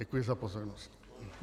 Děkuji za pozornost.